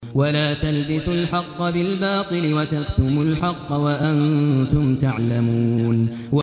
وَلَا تَلْبِسُوا الْحَقَّ بِالْبَاطِلِ وَتَكْتُمُوا الْحَقَّ وَأَنتُمْ تَعْلَمُونَ